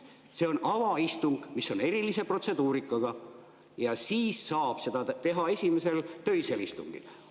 See on avaistung, mis on erilise protseduurikaga, ja siis saab seda teha esimesel töisel istungil.